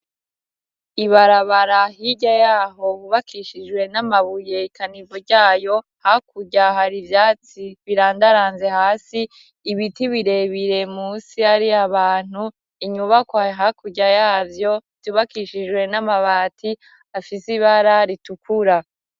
Ibarabara hirya yaho hubakishijwe n'amabuye ikanivo ryayo hakurya hari ivyatsi birandaranze hasi ibiti birebire musi ari abantu inyubakwa hakurya yazo hubakishijwe n'amabati afise ibara ritukura.